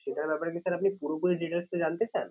Sir সেটার ব্যাপারে কি sir আপনি পুরোপুরি details টা জানতে চান?